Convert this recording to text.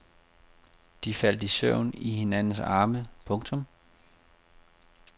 De faldt i søvn i hinandens arme. punktum